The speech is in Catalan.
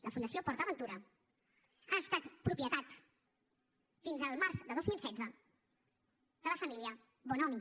la fundació port aventura ha estat propietat fins al març de dos mil setze de la família bonomi